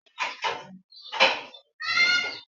Àrẹ̀mú ló fẹ́ ẹ̀gbọ́nbìnrin mi.